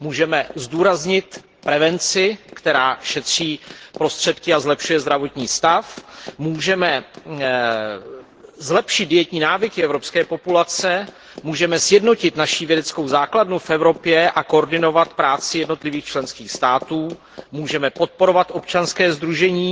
Můžeme zdůraznit prevenci, která šetří prostředky a zlepšuje zdravotní stav, můžeme zlepšit dietní návyky evropské populace, můžeme sjednotit naši vědeckou základnu v Evropě a koordinovat práci jednotlivých členských států, můžeme podporovat občanská sdružení